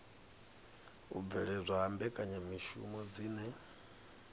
u bveledzwa ha mbekanyamishumo dzine